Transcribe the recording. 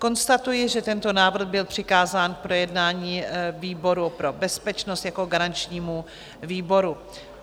Konstatuji, že tento návrh byl přikázán k projednání výboru pro bezpečnost jako garančnímu výboru.